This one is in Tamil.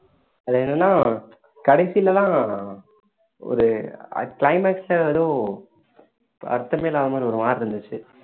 அது என்னன்னா கடைசில தான் ஒரு climax ல ஏதோ அர்த்தமே இல்லாத மாதிரி ஒரு மாதிரி இருந்துச்சு